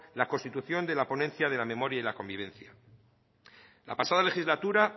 la constitución de la ponencia de la memoria y la convivencia en la pasada legislatura